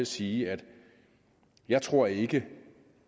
sige jeg tror ikke